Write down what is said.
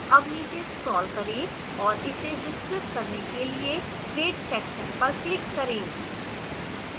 अब नीचे scroll करें और इसे विस्तृत करने के लिए grade section पर click करें